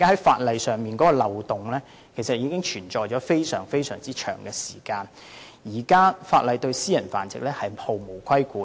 法例上的漏洞已經存在多時，現時法例亦對私人繁殖毫無規管。